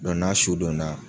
Dɔ n'a su donna